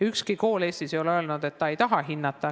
Ükski kool Eestis ei ole öelnud, et ta ei taha hinnata.